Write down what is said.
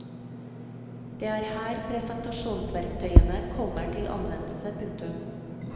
Det er her presentasjonsverktøyene kommer til anvendelse. punktum